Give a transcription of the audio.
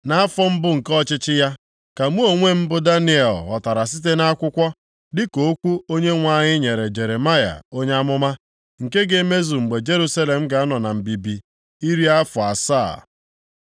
nʼafọ mbụ nke ọchịchị ya, ka mụ onwe m, bụ Daniel ghọtara site nʼakwụkwọ, dịka okwu Onyenwe anyị nyere Jeremaya onye amụma, nke ga-emezu mgbe Jerusalem ga-anọ na mbibi iri afọ asaa.